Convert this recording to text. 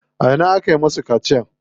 A ina aka musu kaciya?